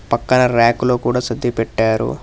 పక్కన ర్యాక్లో కూడా సర్ది పెట్టారు.